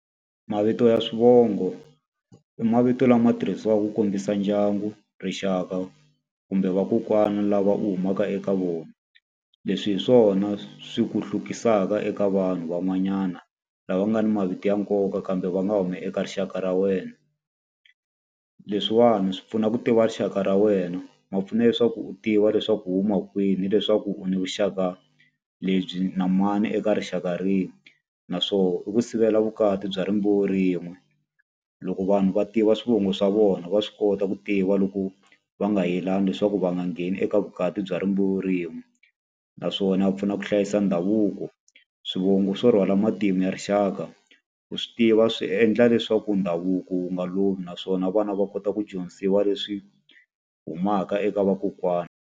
Mavito ya swivongo i mavito lama tirhisiwaka ku kombisa ndyangu, rixaka, kumbe vakokwana lava u humaka eka vona. Leswi hi swona swi ku hlukisaka eka vanhu van'wanyana lava nga ni mavito ya nkoka kambe va nga humi eka rixaka ra wena. Leswiwani swi pfuna ku tiva rixaka ra wena, ma pfuna leswaku u tiva leswaku hi huma kwihi ni leswaku u ni vuxaka lebyi na mani eka rixaka rihi. Naswona i ku sivela vukati bya rimbewu rin'we. Loko vanhu va tiva swivongo swa vona va swi kota ku tiva loko va nga yelani leswaku va nga ngheni eka vukati bya rimbewu rin'we. Naswona pfuna ku hlayisa ndhavuko. Swivongo swo rhwala matimu ya rixaka, ku swi tiva swi endla leswaku ndhavuko wu nga lovi naswona vana va kota ku dyondzisiwa leswi humaka eka vakokwana.